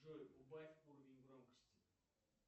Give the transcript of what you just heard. джой убавь уровень громкости